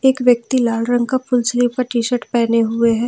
एक व्यक्ति लाल रंग का फुल स्लीव का टीशर्ट पहने हुए हैं।